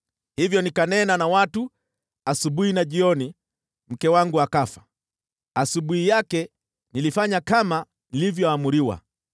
Hivyo nikanena na watu asubuhi na jioni mke wangu akafa. Asubuhi yake nilifanya kama nilivyoamriwa.